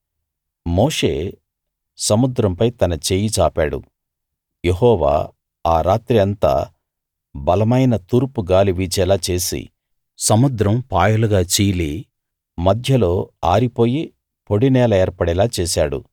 మోషే సముద్రంపై తన చెయ్యి చాపాడు యెహోవా ఆ రాత్రి అంతా బలమైన తూర్పు గాలి వీచేలా చేసి సముద్రం పాయలుగా చీలి మధ్యలో ఆరిపోయి పొడి నేల ఏర్పడేలా చేశాడు